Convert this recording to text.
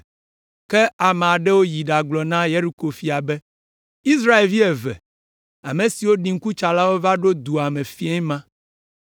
ke ame aɖewo yi ɖagblɔ na Yeriko fia be, Israelvi eve, ame siwo ɖi ŋkutsalawo la va ɖo dua me fiẽ ma.